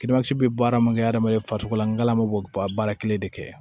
bɛ baara mun kɛ adamaden farisogo la nga law bɛ ba baara kelen de kɛ